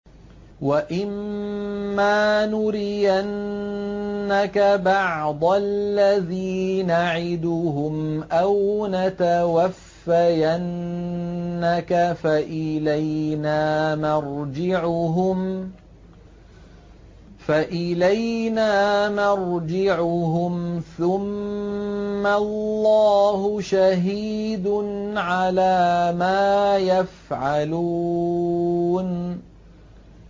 وَإِمَّا نُرِيَنَّكَ بَعْضَ الَّذِي نَعِدُهُمْ أَوْ نَتَوَفَّيَنَّكَ فَإِلَيْنَا مَرْجِعُهُمْ ثُمَّ اللَّهُ شَهِيدٌ عَلَىٰ مَا يَفْعَلُونَ